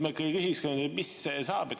Ma ikkagi küsin, mis saab.